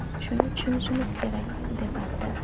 Shuni tushunishimiz kerak... ”, deb aytdi.